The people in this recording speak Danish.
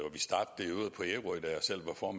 for